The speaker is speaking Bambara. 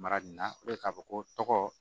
Mara nin na k'a fɔ ko tɔgɔ